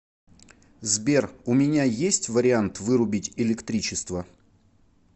сбер у меня есть вариант вырубить электричество